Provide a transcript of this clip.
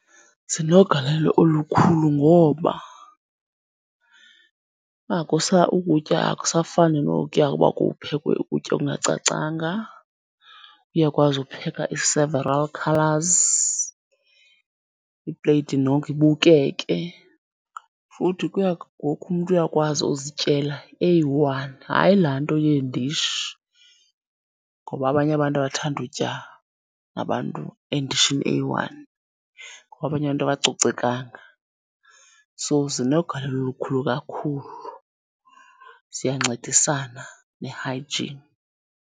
Zinogalelo olukhulu ngoba ukutya akusafani nokuya uba kuphekwe ukutya okungacacanga, uyakwazi upheka i-sevaral colours, ipleyiti noko ibukeke. Futhi ngoku umntu uyakwazi uzityela eyi-one hayi laa nto yeendishi, ngoba abanye abantu abathandi utya nabantu endishini eyi-one ngoba abanye abantu abacocekanga. So, zinogalelo olukhulu kakhulu, ziyancedisana ne-hygiene.